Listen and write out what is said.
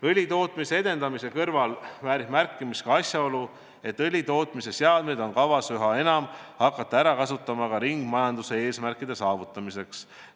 Õlitootmise edendamise kõrval väärib märkimist asjaolu, et õlitootmise seadmeid on kavas üha enam hakata ära kasutama ka ringmajanduse eesmärkide saavutamiseks.